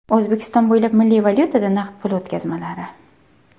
O‘zbekiston bo‘ylab milliy valyutada naqd pul o‘tkazmalari!.